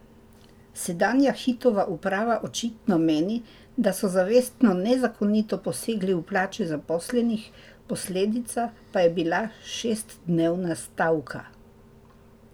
Sedanja Hitova uprava očitno meni, da so zavestno nezakonito posegli v plače zaposlenih, posledica pa je bila šestdnevna stavka.